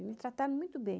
E me trataram muito bem.